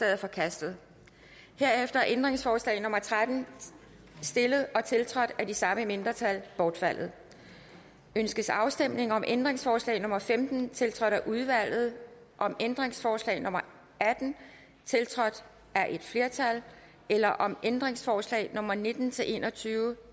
er forkastet herefter er ændringsforslag nummer tretten stillet og tiltrådt af de samme mindretal bortfaldet ønskes afstemning om ændringsforslag nummer femten tiltrådt af udvalget om ændringsforslag nummer atten tiltrådt af et flertal eller om ændringsforslag nummer nitten til en og tyve